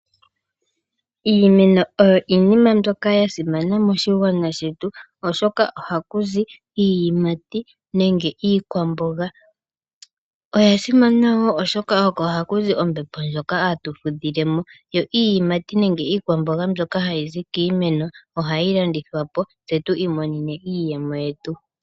Iimeno oyo iinima mbyoka ya simana moshigwana shetu, oshoka ohaku zi iiyimati nenge iikwamboga. Oya simana wo, oshoka oko haku zi ombepo ndjoka hatu fudhile mo, yo iiyimati nenge iikwamboga mbyoka hayi zi kiimeno ohayi landithwa po, tse tu imonene iiyemo yetu.